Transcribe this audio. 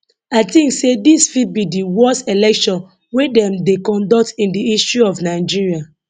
i tink say dis fit be di worst election wey dem dey conduct in di history of nigeria